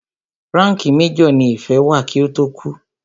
Ránkìì major ní Ìfẹ́ wà kí ó tó kú.